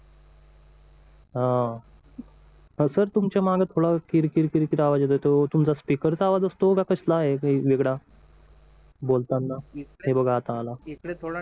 हम्म आहो सर तुमच्या मागे थोडं किरि किर किर आवाज येतोय तो तुमचा स्पीकरचा आवाज असतो का कसला आहे वेगळा बोलताना हे बघा आता आला